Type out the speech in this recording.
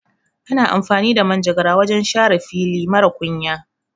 Ana amfani da manjakara wajan share ciyawa a fili marar kunya